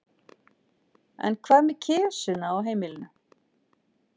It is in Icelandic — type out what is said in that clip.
En hvað með kisuna á heimilinu?